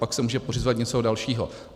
Pak se může pořizovat něco dalšího.